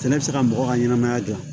Sɛnɛ bɛ se ka mɔgɔ ka ɲɛnɛmaya dilan